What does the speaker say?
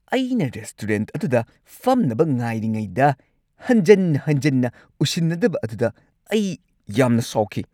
ꯑꯩꯅ ꯔꯦꯁꯇꯨꯔꯦꯟꯠ ꯑꯗꯨꯗ ꯐꯝꯅꯕ ꯉꯥꯏꯔꯤꯉꯩꯗ, ꯍꯟꯖꯟ ꯍꯟꯖꯟꯅ ꯎꯁꯤꯟꯅꯗꯕ ꯑꯗꯨꯗ ꯑꯩ ꯌꯥꯝꯅ ꯁꯥꯎꯈꯤ ꯫